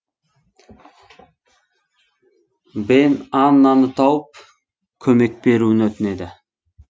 бен аннаны тауып көмек беруін өтінеді